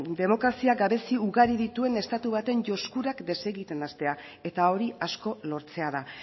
demokrazia gabezia ugari dituen estatu baten josturak desegiten hastea eta hori asko lortzea da